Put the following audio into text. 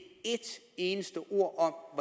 et eneste ord om